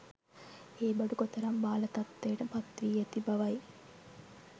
ඒ බඩු කොතරම් බාල තත්ත්වයට පත්වී ඇති බවයි.